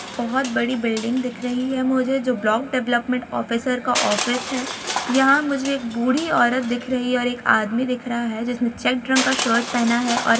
बहुत बड़ी बिल्डिंग दिख रही है मुझे जो ब्लॉक डेवेलोमेंट ऑफिसर का ऑफिस है यहां मुझे एक बूढ़ी औरत दिख रही है और एक आदमी दिख रहा है जिसेमें चेक ड्रंक का शर्ट पेहना हैं। और --